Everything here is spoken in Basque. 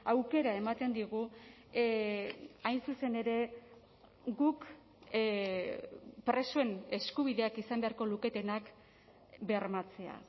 aukera ematen digu hain zuzen ere guk presoen eskubideak izan beharko luketenak bermatzea